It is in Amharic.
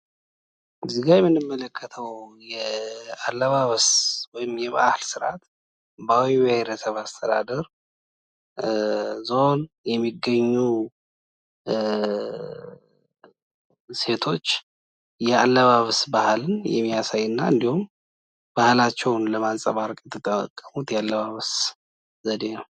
እዚያ የምንመለከተው አለባበስ ወይም የባህል ስርአት በአዊ ብሄረሰብ አስተዳደር ዞን የሚገኙ ሴቶች የአለባበስ በአልን የሚያሳይና እንዲሁም ባህላቸውን ለማንፀባረቅ የተጠቀሙት የአለባበስ ዘዴ ነው።